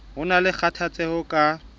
ho na le kgathatseho ka